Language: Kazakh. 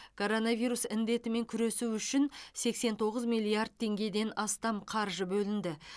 коронавирус індетімен күресу үшін сексен тоғыз миллиард теңгеден астам қаржы бөлінді